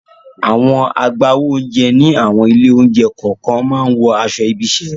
Àwọn agbáwo oúnjẹ ní àwọn ilé-oúnjẹ kọ̀ọ̀kan máa ń wọ aṣọ ibi-iṣẹ́.